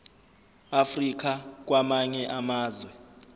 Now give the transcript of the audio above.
africa kwamanye amazwe